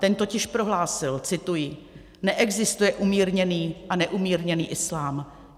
Ten totiž prohlásil - cituji: "Neexistuje umírněný a neumírněný islám.